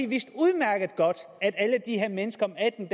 vidste udmærket godt at alle de her mennesker om atten